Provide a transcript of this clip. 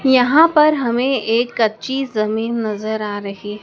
यहां पर हमें एक कच्ची जमीन नजर आ रही--